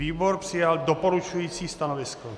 Výbor přijal doporučující stanovisko.